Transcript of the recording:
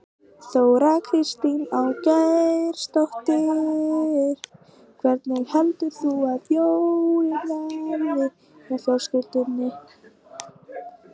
Þóra Kristín Ásgeirsdóttir: Hvernig heldurðu að jólin verði hjá ykkur fjölskyldunni?